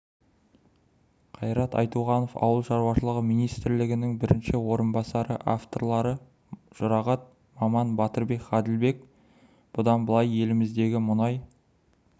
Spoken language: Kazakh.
қайрат айтуғанов ауыл шаруашылығы министрінің бірінші орынбасары авторлары жұрағат баман батырбек ғаділбек бұдан былай еліміздегі мұнай